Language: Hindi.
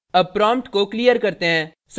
अब prompt को clear करते हैं